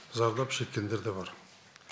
зардап шеккендер де бар